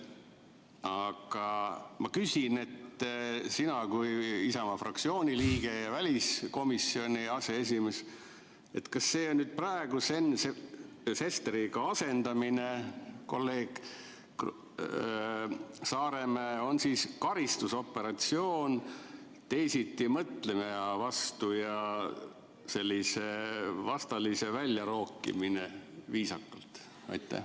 Aga ma küsin sinult kui Isamaa fraktsiooni liikmelt ja väliskomisjoni aseesimehelt, kas praegu see kolleeg Saaremäe asendamine Sven Sesteriga on siis karistusoperatsioon teisitimõtlemise vastu ja sellise vastalise välja rookimine, viisakalt.